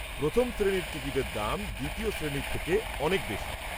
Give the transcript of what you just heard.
প্রথম শ্রেণীর টিকিটের দাম দ্বিতীয় শ্রেণীর থেকে অনেক বেশি।